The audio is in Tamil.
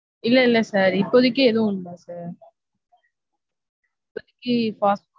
இல்ல இல்ல sir. இப்போதைக்கு அதுவும் இல்ல sir.